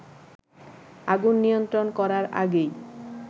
আগুন নিয়ন্ত্রণ করার আগেই